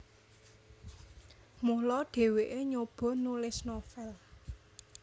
Mula dhèwèké nyoba nulis novel